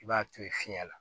I b'a to ye fiɲɛ la